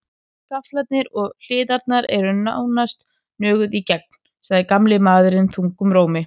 Gaflarnir og hliðarnar eru nánast nöguð í gegn, sagði gamli maðurinn þungum rómi.